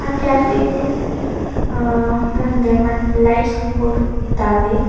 ಹಾ ಮುಂದೆ ಮತ್ತ್ ಲೈಟ್ಸ್ ಬೋರ್ಡ್ ಇದ್ದಾವೆ.